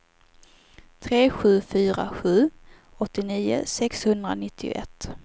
tre sju fyra sju åttionio sexhundranittioett